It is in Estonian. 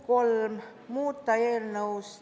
Muudatusettepanek nr 3.